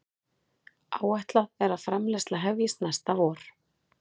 Áætlað er framleiðsla hefjist næsta vor